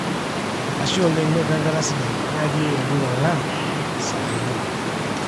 ashe oleng noto enkata sidai, nyaaki oou olduka lang saai muuj